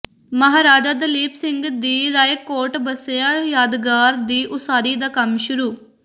ਮਹਾਰਾਜਾ ਦਲੀਪ ਸਿੰਘ ਦੀ ਰਾਏਕੋਟ ਬੱਸੀਆਂ ਯਾਦਗਾਰ ਦੀ ਉਸਾਰੀ ਦਾ ਕੰਮ ਸ਼ੁਰੂ